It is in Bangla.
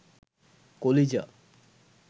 কলিজা